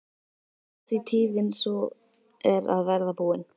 Af því tíðin sú er að verða búin.